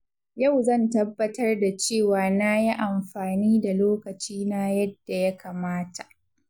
Yau zan tabbatar da cewa na yi amfani da lokaci na yadda ya kamata.